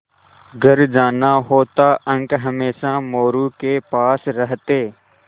घर जाना होता अंक हमेशा मोरू के पास रहते